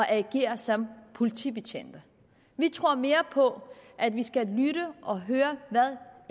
agere som politibetjente vi tror mere på at vi skal lytte og høre hvad